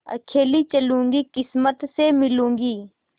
अकेली चलूँगी किस्मत से मिलूँगी